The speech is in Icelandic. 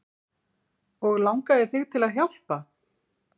Og langaði þig til að hjálpa?